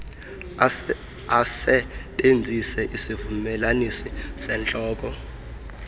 asebenzise isivumelanisi sentloko